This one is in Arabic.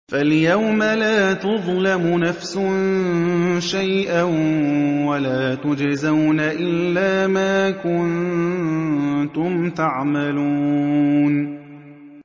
فَالْيَوْمَ لَا تُظْلَمُ نَفْسٌ شَيْئًا وَلَا تُجْزَوْنَ إِلَّا مَا كُنتُمْ تَعْمَلُونَ